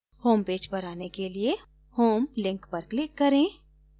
home page पर आने के लिए home link पर click करें